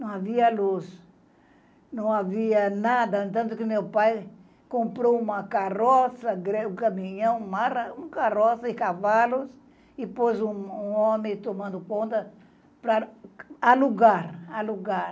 Não havia luz, não havia nada, tanto que meu pai comprou uma carroça, um caminhão, uma carroça e cavalos, e pôs um homem tomando conta para alugar, alugar